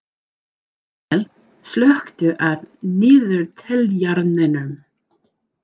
Daniel, slökktu á niðurteljaranum.